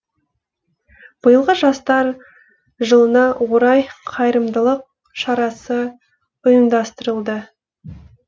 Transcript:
биылғы жастар жылына орай қайырымдылық шарасы ұйымдастырылды